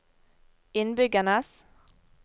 innbyggernes